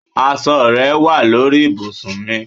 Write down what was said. asọ rẹ wa lori ibùsùn mi